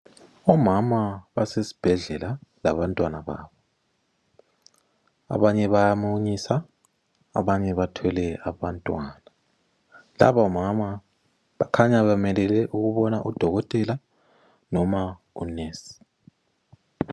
Omama basesibhedlela laba ntwana babo. Abanye baya munyisa abanye bathwele abantwana. Labo mama bakhanya bemelele ukubona udokotela noma unesi.